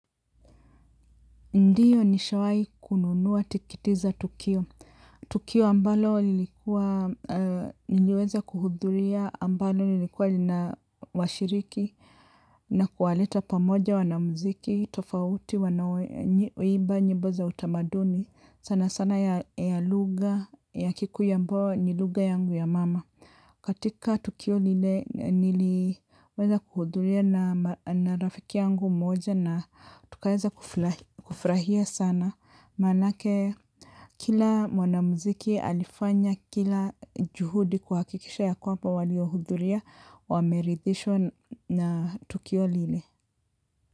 Ndiyo nishawai kununua tikiti za tukio. Tukio ambalo niliweza kuhudhuria ambalo lilikuwa lina washiriki na kuwaleta pamoja wanamuziki, tofauti, wanaoimba, nyimbo za utamaduni, sana sana ya lugha, ya kikuyu ambao ni lugha yangu ya mama. Katika tukio lile niliweza kuhudhuria na rafiki yangu moja na tukaeza kufrahia sana manake kila mwanamziki alifanya kila juhudi kuhakikisha ya kwamba waliohudhuria wameridhishwa na tukio lile.